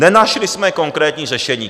Nenašli jsme konkrétní řešení."